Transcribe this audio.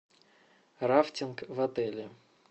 рафтинг в отеле